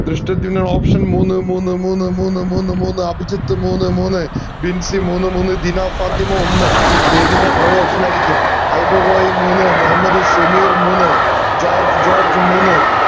Dhrishtadyumnan option മൂന്ന് മൂന്ന് മൂന്ന് മൂന്ന് മൂന്ന് മൂന്ന് അഭിജിത്ത് മൂന്ന് മൂന്ന്മൂന്ന് ബിൻസി മൂന്ന് മൂന്ന് ദിനാ ഫാത്തിമ ഒന്ന് അത് എത്തിൻറെആ പഴേ option ആയിരിക്കും ഐബൽ റോയ് മൂന്ന് മുഹമ്മദ് ഷമീർ മൂന്ന് ജോർജ് ജോർജ് മൂന്ന്